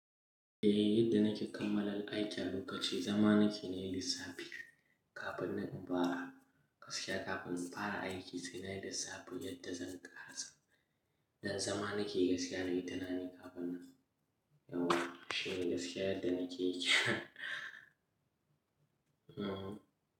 Eh yadda nake kammala aikin a lokaci zama naki nayi lissafi kafin na duba gaskiya kafin in fara aiki sai na yi lissafi yadda zan ƙarasa Dan zama nake gaskiya na yi tunani kafin na yauwa shine gaskiya yadda nake yi. Mhm.